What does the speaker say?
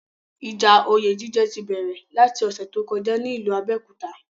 Ìjà oyè jíjẹ ti bẹ̀rẹ̀ láti ọ̀ṣẹ̀ tó kọjá ní ìlú Abẹ́òkúta.